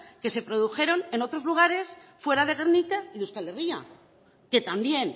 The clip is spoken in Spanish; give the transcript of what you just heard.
que se produjeron en otros lugares fuera de gernika y de euskal herria que también